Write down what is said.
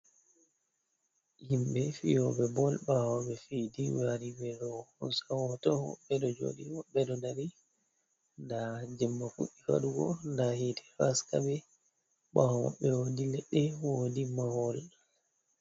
Himbe fi'oɓe bol ɓawo ɓe fi'e ɓe wari ɓeɗo hosa hoto, woɓɓe ɗo joɗi woɓɓe ɗo dari, nda jemma fuɗɗi waɗugo hite ɗo haska ɓe. Ɓawo maɓɓe wodi leɗɗe wodi mahol.